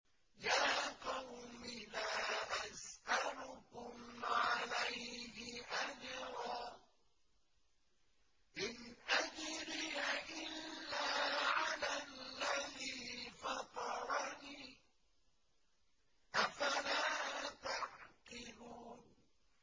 يَا قَوْمِ لَا أَسْأَلُكُمْ عَلَيْهِ أَجْرًا ۖ إِنْ أَجْرِيَ إِلَّا عَلَى الَّذِي فَطَرَنِي ۚ أَفَلَا تَعْقِلُونَ